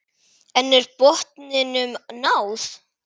En er botninum náð?